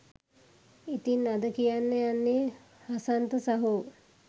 ඉතින් අද කියන්න යන්නේ හසන්ත සහෝ